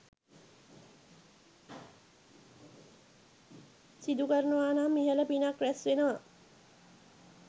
සිදු කරනවානම් ඉහළ පිනක් රැස්වෙනවා.